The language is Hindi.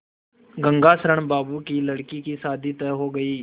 गंगाशरण बाबू की लड़की की शादी तय हो गई